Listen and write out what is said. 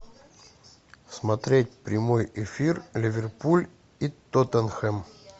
смотреть прямой эфир ливерпуль и тоттенхэм